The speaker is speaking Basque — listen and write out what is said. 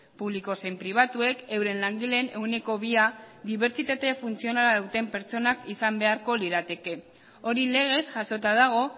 publiko zein pribatuek euren langileen ehuneko bia dibertsitate funtzionala duten pertsonak izan beharko lirateke hori legez jasota dago